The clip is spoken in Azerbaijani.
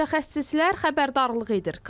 Mütəxəssislər xəbərdarlıq edir.